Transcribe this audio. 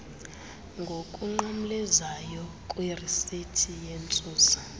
ngokunqamlezayo kwirisithi yentsusa